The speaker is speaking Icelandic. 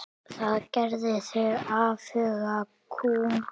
Það gerði þig afhuga kúm.